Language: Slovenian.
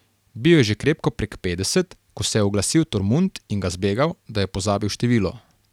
Bil je že krepko prek petdeset, ko se je oglasil Tormund in ga zbegal, da je pozabil število.